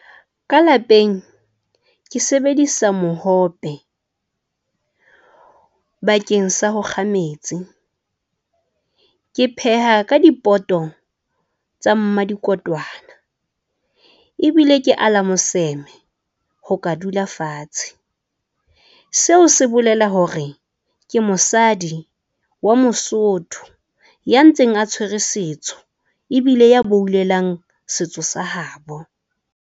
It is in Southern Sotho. Ka lapeng ke sebedisa mohope bakeng sa ho kga metsi. Ke pheha ka dipoto tsa mmadikotwana. Ebile ke ala moseme ho ka dula fatshe. Seo se bolela hore ke mosadi wa mosotho ya ntseng a tshwere setso, ebile ya boullelang setso sa habo.